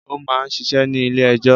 Ó máa ń ṣiṣẹ́ ní ilé-ẹjọ́.